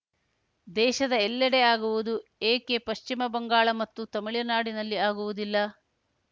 ದೇಶದ ಎಲ್ಲೆಡೆ ಆಗುವುದು ಏಕೆ ಪಶ್ಚಿಮ ಬಂಗಾಳ ಮತ್ತು ತಮಿಳುನಾಡಿನಲ್ಲಿ ಆಗುವುದಿಲ್ಲ